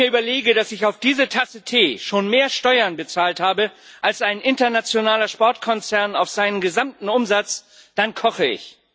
Wenn ich mir überlege, dass ich auf diese Tasse Tee schon mehr Steuern bezahlt habe als ein internationaler Sportkonzern auf seinen gesamten Umsatz, dann koche ich.